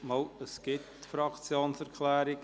Es gibt Fraktionserklärungen.